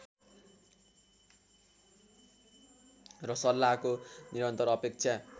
र सल्लाहको निरन्तर अपेक्षा